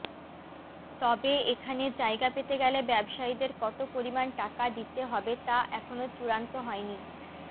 তবে এখানে জায়গা পেতে গেলে ব্যবসায়ীদের কত পরিমাণ টাকা দিতে হবে তা এখনও চুড়ান্ত হয়নি